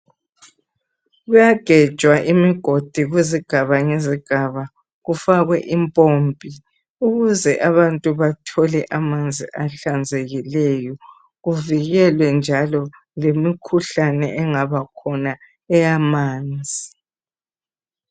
Kuyagejwa imigodi kuzigaba ngezigaba kufakwe impompi ukuze abantu bathole amanzi ahlanzekileyo kuvikelwe njalo lemikhuhlane engabakhona eyamanzi.